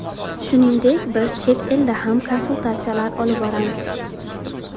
Shuningdek biz chet elda ham konsultatsiyalar olib boramiz.